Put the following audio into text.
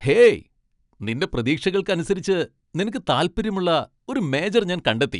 Hey, നിന്റെ പ്രതീക്ഷകൾക്ക് അനുസരിച്ച് നിനക്ക് താൽപ്പര്യമുള്ള ഒരു മേജർ ഞാൻ കണ്ടെത്തി .